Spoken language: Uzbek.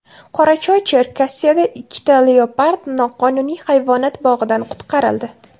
Qorachoy-Cherkasiyada ikkita leopard noqonuniy hayvonot bog‘idan qutqarildi.